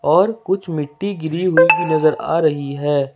और कुछ मिट्टी गिरी हुई की नजर आ रही है।